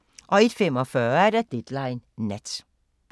01:45: Deadline Nat